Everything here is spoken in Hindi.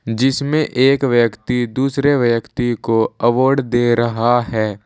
जिसमें एक व्यक्ति दूसरे व्यक्ति को अवार्ड दे रहा है।